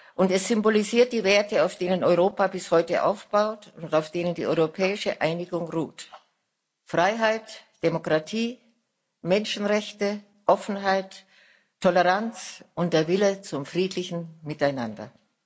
Und es symbolisiert die Werte, auf denen Europa bis heute aufbaut und auf denen die europäische Einigung ruht Freiheit, Demokratie, Menschenrechte, Offenheit, Toleranz und der Wille zum friedlichen Miteinander.